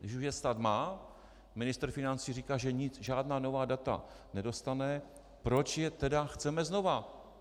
Když už je stát má, ministr financí říká, že žádná nová data nedostane, proč je tedy chceme znova?